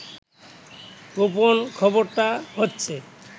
গোপন খবরটা হচ্ছে